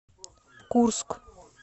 курск